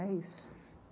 É isso.